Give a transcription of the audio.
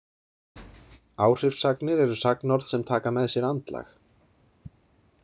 Áhrifssagnir eru sagnorð sem taka með sér andlag.